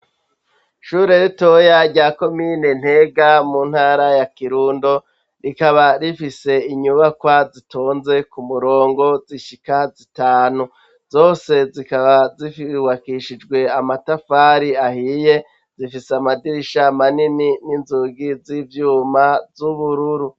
Ishure ritoya rya komine Ntega mu ntara ya Kirundo rikaba rifise inyubakwa zitonze ku murongo zishika zitanu, zose zikaba zubakishijwe amatafari ahiye zifise amadirisha manini n'inzugi z'ivyuma z'ubururu